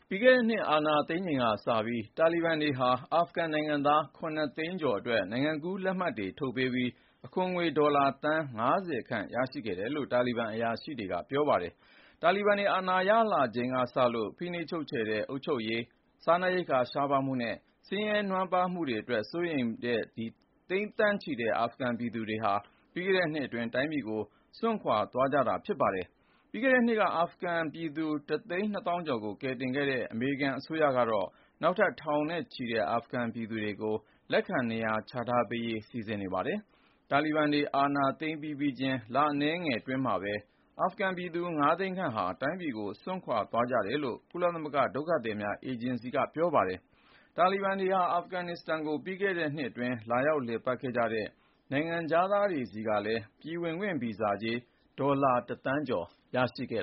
ပြီးခဲ့တဲ့နှစ် အာဏာသိမ်းချိန်ကစပြီး တာလီဘန်တွေဟာ အာဖဂန်နိုင်ငံသား (၇)သိန်းကျော်အတွက် နိုင်ငံကူးလက်မှတ်တွေ ထုတ်ပေးပြီး အခွန်ငွေ ဒေါ်လာသန်း(၅၀)ခန့် ရရှိခဲ့တယ်လို့ တာလီဘန်အရာရှိတွေက ပြောပါတယ်။ တာလီဘန်တွေ အာဏာရလာချိန်က စလို့ ၊ ဖိနှိပ်ချုပ်ခြယ်တဲ့ အုပ်ချုပ်ရေး စားနပ်ရိက္ခာ ရှားပါးမှုနဲ့ ဆင်းရဲနွမ်းပါးမှုတွေအတွက် စိုးရိမ်တဲ့ သိန်းသန်းချီတဲ့ အာဖဂန်ပြည်သူတွေဟာ ပြီးခဲ့တဲ့နှစ်အတွင်း တိုင်းပြည်ကို စွန့်ခွာ သွားကြတာ ဖြစ်ပါတယ်။ ပြီးခဲ့တဲ့နှစ်က အာဖဂန်ပြည်သူ တစ်သိန်း နှစ်သောင်းကျော်ကို ကယ်တင်ခဲ့တဲ့ အမေရိကန်အစိုးရကတော့ နောက်ထပ် ထောင်နဲ့ချီတဲ့ အာဖဂန်ပြည်သူ တွေကိုလည်း လက်ခံနေရာချထားပေးဖို့ စီစဉ်နေပါတယ်။ တာလီဘန်တွေ အာဏာသိမ်း ပြီးပြီးချင်း လအနည်းငယ်အတွင်းမှာပဲ အာဖဂန်ပြည်သူ (၅)သိန်းခန့်ဟာ တိုင်းပြည်ကို စွန့်ခွာ ခဲ့ကြတယ်လို့ ကုလသမဂ္ဂဒုက္ခသည်များအေဂျင်စီက ပြောပါတယ်။ တာလီဘန်တွေဟာ အာဖဂန်နစ္စတန်ကို ပြီးခဲ့တဲ့နှစ်အတွင်း လာရောက်လည်ပတ်ခဲ့ကြတဲ့ နိုင်ငံခြားသားတွေဆီကလည်း ပြည်ဝင်ခွင့်ဗီဇာကြေး ဒေါ်လာ(၁)သန်းကျော် ရရှိခဲ့